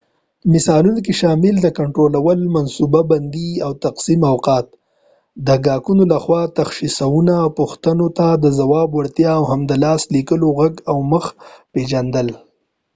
مثالونو کې شامل دي کنټرول منصوبه بندي او تقسیم اوقات د ګاهکانو لخوا تشخیصونو او پوښتنو ته د ځواب وړتیا او هم د لاس د لیکلو غږ او مخ پېژندنه